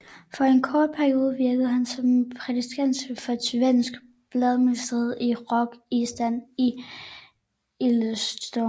For en kort periode virkede han som prædikant for et svensk baptistmenighed i Rock Island i Illinois